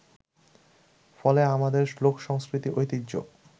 ফলে আমাদের লোকসংস্কৃতির ঐতিহ্য